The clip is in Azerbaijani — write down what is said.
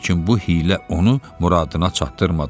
Lakin bu hiylə onu muradına çatdırmadı.